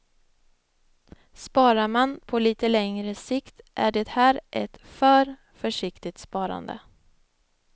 Sparar man på lite längre sikt är det här ett för försiktigt sparande.